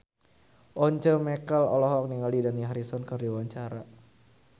Once Mekel olohok ningali Dani Harrison keur diwawancara